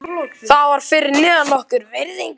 Það var fyrir neðan okkar virðingu.